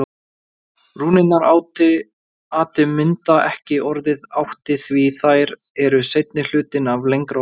Rúnirnar ati mynda ekki orðið átti því þær eru seinni hlutinn af lengra orði.